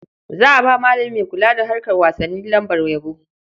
Za a ba malami mai kula da harkar wasanni lambar yabo.